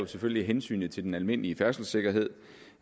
selvfølgelig af hensyn til den almindelige færdselssikkerhed